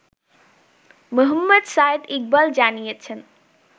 মোহাম্মদ সাঈদ ইকবাল জানিয়েছেন